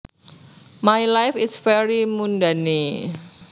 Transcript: My life is very mundane